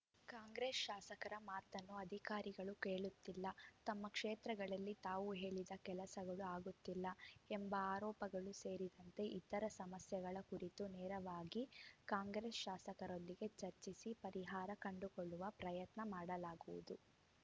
ಕಾಂಗ್ರೆಸ್‌ ಶಾಸಕರ ಮಾತನ್ನು ಅಧಿಕಾರಿಗಳು ಕೇಳುತ್ತಿಲ್ಲ ತಮ್ಮ ಕ್ಷೇತ್ರಗಳಲ್ಲಿ ತಾವು ಹೇಳಿದ ಕೆಲಸಗಳು ಆಗುತ್ತಿಲ್ಲ ಎಂಬ ಆರೋಪಗಳು ಸೇರಿದಂತೆ ಇತರೆ ಸಮಸ್ಯೆಗಳ ಕುರಿತು ನೇರವಾಗಿ ಕಾಂಗ್ರೆಸ್‌ ಶಾಸಕರೊಂದಿಗೆ ಚರ್ಚಿಸಿ ಪರಿಹಾರ ಕಂಡುಕೊಳ್ಳುವ ಪ್ರಯತ್ನ ಮಾಡಲಾಗುವುದು